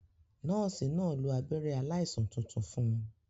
Nọ́ọ̀sì náà lo abẹ́rẹ́ aláìsàn tuntun fun